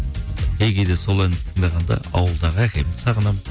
кей кейде сол әнді тыңдағанда ауылдағы әкемді сағынамын